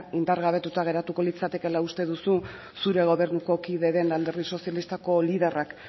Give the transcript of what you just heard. indargabetuta geratuko litzatekeela uste duzu zure gobernuko kide den alderdi sozialistako liderrak